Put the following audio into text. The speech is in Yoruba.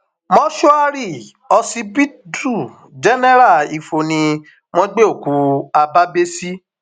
mòṣùárì ọsibítù jẹnẹra ifo ni wọn gbé òkú habábéh sí